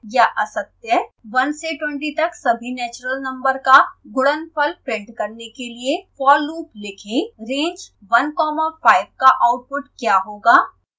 1 से 20 तक सभी नैचरल नम्बर का गुणनफल प्रिंट करने के लिए for loop लिखें